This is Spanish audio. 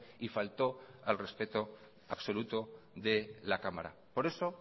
y faltó al respeto absoluto de la cámara por eso